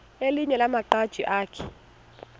elinye lamaqhaji akhe